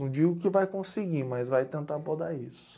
Não digo que vai conseguir, mas vai tentar podar isso.